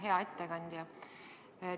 Hea ettekandja!